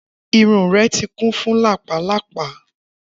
Irun rẹ ti kun fun lápá lápá.